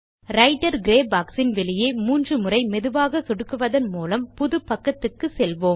writer grey boxன் வெளியே மூன்று முறை மெதுவாக சொடுக்குவதன் மூலம் புது பக்கத்துக்கு செல்வோம்